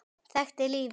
Þekkti lífið.